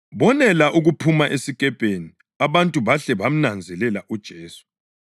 Bonela ukuphuma esikepeni abantu bahle bamnanzelela uJesu.